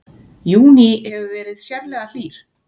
Júní hefur verið sérlega hlýr